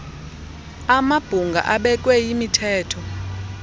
amabhunga abekwe yimithetho